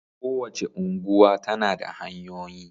Kowace unguwa tana da hanyoyi.